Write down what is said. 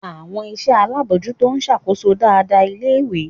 Àwọn iṣẹ́ alábòójútó ń ṣàkóso dáadáa ilé-ìwé.